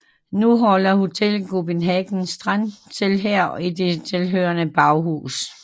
Nu holder hotellet Copenhagen Strand til her og i det tilhørende baghus